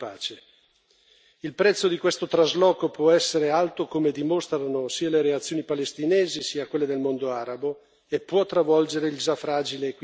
Il prezzo di questo trasloco può essere alto, come dimostrano sia le reazioni palestinesi sia quelle del mondo arabo, e può travolgere il già fragile equilibrio nella regione.